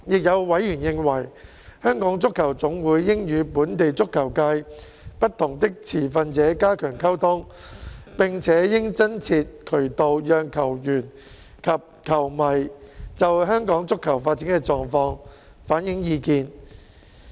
有委員認為，香港足球總會應與本地足球界不同的持份者加強溝通，並且應增設渠道讓球員及球迷，就香港足球發展的狀況反映意見。